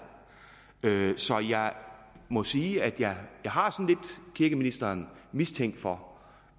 så jeg må sige at jeg har kirkeministeren mistænkt for